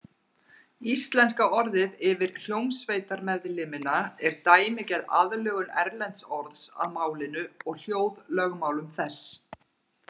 Íslenska orðið yfir hljómsveitarmeðlimina er dæmigerð aðlögun erlends orðs að málinu og hljóðlögmálum þess.